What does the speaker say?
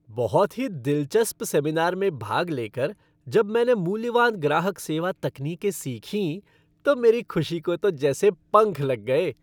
बहुत ही दिलचस्प सेमिनार में भाग ले कर, जब मैंने मूल्यवान ग्राहक सेवा तकनीकें सीखीं तो मेरी खुशी को तो जैसे पंख लग गए।